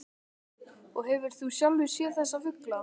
Og hefur þú sjálfur séð þessa fugla?